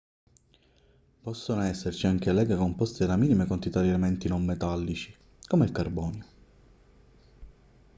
possono esserci anche leghe composte da minime quantità di elementi non metallici come il carbonio